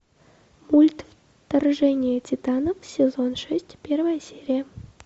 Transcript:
мульт вторжение титанов сезон шесть первая серия